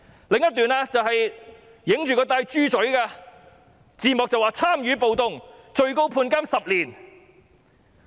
另一個畫面是一個人佩戴着"豬嘴"，字幕寫上"參與暴動最高判刑10年"。